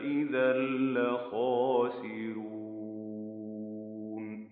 إِذًا لَّخَاسِرُونَ